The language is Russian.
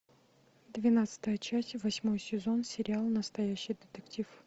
двенадцатая часть восьмой сезон сериал настоящий детектив